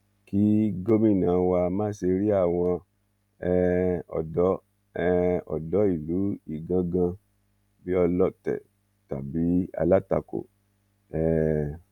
kí gómìnà wá má ṣe rí àwọn um odò um odò ìlú ìgangan bíi ọlọtẹ tàbí alátakò um